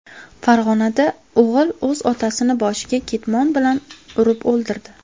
Farg‘onada o‘g‘il o‘z otasini boshiga ketmon bilan urib o‘ldirdi.